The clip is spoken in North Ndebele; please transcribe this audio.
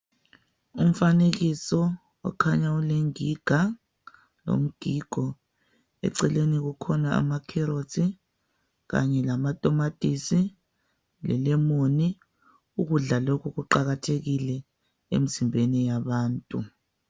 Umfanekiso okhanya ulengiga lomgigo eceleni kukhona ama carrots kanye lamatomatisi lelemon ukudla lokhu Kuqakathekile emzimbeni yabantu.